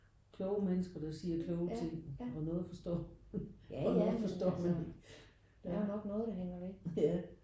Kloge mennesker der siger kloge ting og noget forstår man og noget forstår man ja ja